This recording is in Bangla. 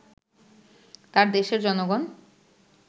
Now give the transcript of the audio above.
তার দেশের জনগণ